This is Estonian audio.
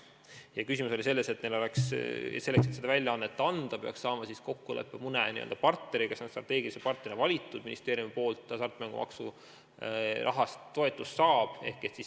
Küsimus oli selles, et selleks, et seda lehte välja anda, peaks saama kokkuleppe mõne n-ö partneriga, kelle ministeerium on n-ö strateegilise partnerina välja valinud hasartmängumaksurahast toetuse andmiseks.